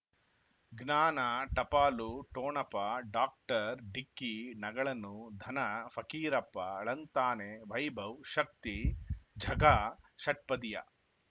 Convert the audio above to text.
ಜ್ಞಾನ ಟಪಾಲು ಠೊಣಪ ಡಾಕ್ಟರ್ ಢಿಕ್ಕಿ ಣಗಳನು ಧನ ಫಕೀರಪ್ಪ ಳಂತಾನೆ ವೈಭವ್ ಶಕ್ತಿ ಝಗಾ ಷಟ್ಪದಿಯ